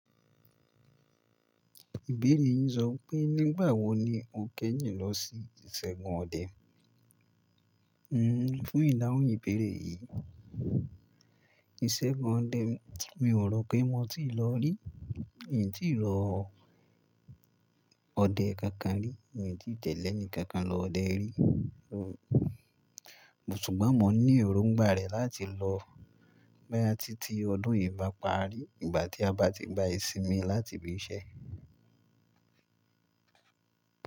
Ìbéèrè yín sọ pé nígbà wo ni mo kẹ́yìn lọ sí ìṣẹ́gun ọdẹ? Hhm, fún ìdáhùn ìbéèrè yìí, ìṣẹ́gun ọdẹ mi ò rò pé mo ti lọ rí, mi ò tíì lọ ọdẹ kankan rí, mi ò tí tẹ̀lẹ́ eni kankan lọ ọdẹ rí. Ṣùgbọ́n mọ̀ ní èròǹgbà rẹ̀ láti lọ bóyá ti ti ọdún yìí bá parí, ìgbà tí a bá ti gba ìsinmi láti ibi iṣẹ́.